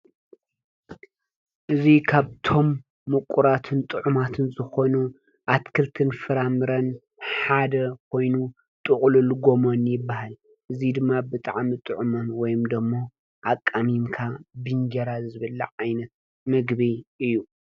እዙይ ካብቶም ሙቁራትን ጡዕማትን ዝኾኑ ኣትክልትን ፍራምረን ሓደ ኾይኑ ጥቁልል ጎመን ይባሃል። እዚ ድማ ብጣዕሚ ጡዑምን ወይም ደሞ ኣቃሚምካ ብእንጀራ ዝብላዕ ዓይነት ምግቢ እዩ።